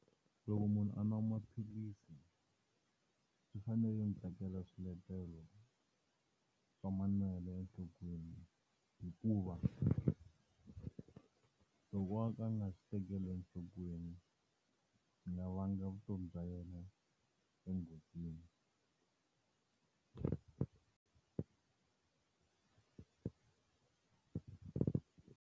Loko munhu a nwa maphilisi swi fanele tekela swiletelo swa manwelo enhlokweni, hikuva loko a ka a nga swi tekeli enhlokweni swi nga vanga vutomi bya yena enghozini.